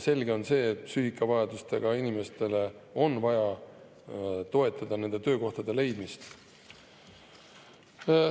Samas on selge, et psüühiliste erivajadustega inimesi on vaja toetada neile töökohtade leidmisel.